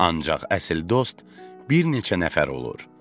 Ancaq əsl dost bir neçə nəfər olur.